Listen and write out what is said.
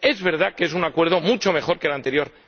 Es verdad que es un acuerdo mucho mejor que el anterior.